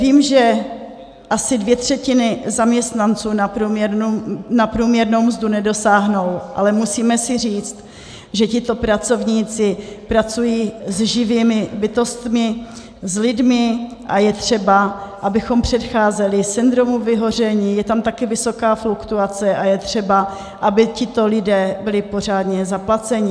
Vím, že asi dvě třetiny zaměstnanců na průměrnou mzdu nedosáhnou, ale musíme si říct, že tito pracovníci pracují s živými bytostmi, s lidmi a je třeba, abychom předcházeli syndromu vyhoření, je tam taky vysoká fluktuace a je třeba, aby tito lidé byli pořádně zaplaceni.